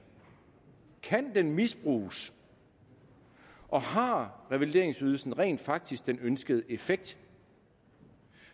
kan den misbruges og har revalideringsydelsen rent faktisk den ønskede effekt